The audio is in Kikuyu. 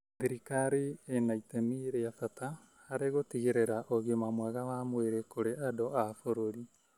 Thirikari ĩna itemi rĩa bata harĩ gũtigĩrĩra ũgima mwega wa mwĩrĩ kũrĩ andũ a bũrũri.